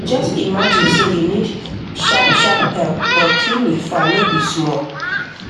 just imagine say you need sharp sharp help but clinic far no be small